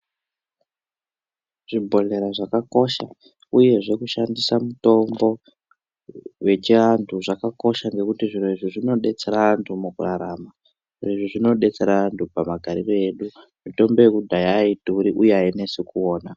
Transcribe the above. Zvibhodhlera zvakakosha uyezve kushandisa mutombo wechiantu zvakakosha ngekuti zvirozvo zvinodetsera antu mukurarama. Izvi zvinodetsera antu pamagariro edu. Mitombo yekudhaya haidhuri uye hainesi kuona.